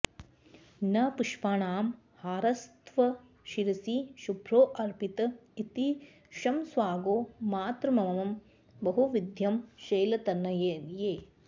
न पुष्पाणां हारस्तव शिरसि शुभ्रोऽर्पित इति क्षमस्वागो मातर्मम बहुविधं शैलतनये